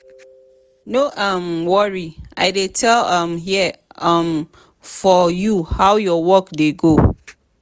no um worry i dey um here um for you how your work dey go?